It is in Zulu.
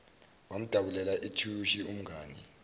wamdabulela ithishu umngani